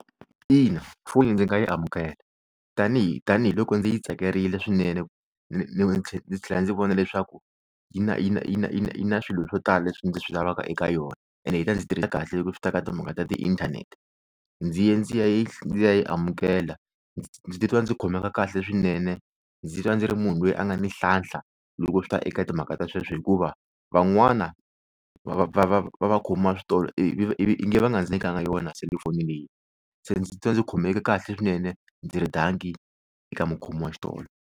Ina, foni ndzi nga yi amukela tanihi tanihiloko ndzi yi tsakerile swinene ndzi tlhela ndzi vona leswaku yi na yi na yi na yi na swilo swo tala leswi ndzi swi lavaka eka yona ene yi ta ndzi tirhela kahle loko swi ta eka timhaka ta tiinthanete ndzi ye ndzi ya yi amukela ndzi titwa ndzi khomeka kahle swinene, ndzi titwa ndzi ri munhu loyi a nga na nhlahla loko swi ta eka timhaka ta sweswo hikuva van'wana va va va vakhomiwa switolo ivi ingi va nga ndzi nyikanga yona selufoni leyi se ndzi twa ndzi khomeke kahle swinene ndzi ri dankie eka mukhomi wa xitolo.